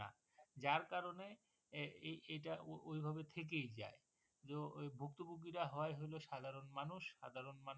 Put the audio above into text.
যার কারনে এই~এইটা ঐ ভাবে থেকেই যায় জো ভুক্তভুগিরা হই হইলো সাধারন মানুষ।